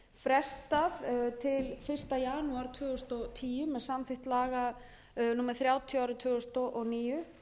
frestað til fyrsta janúar tvö þúsund og tíu með samþykkt laga númer þrjátíu tvö þúsund og níu